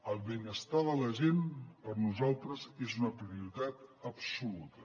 el benestar de la gent per nosaltres és una prioritat absoluta